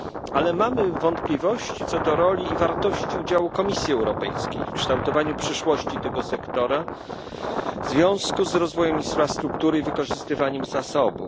Ale mamy wątpliwości co do roli i wartości udziału Komisji Europejskiej w kształtowaniu przyszłości tego sektora w związku z rozwojem infrastruktury i wykorzystywaniem zasobów.